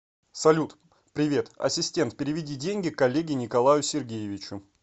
салют привет ассистент переведи деньги коллеге николаю сергеевичу